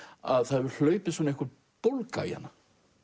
að það hefur hlaupið einhver bólga í hana